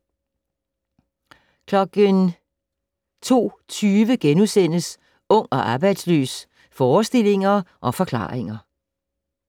02:20: Ung og arbejdsløs - forestillinger og forklaringer *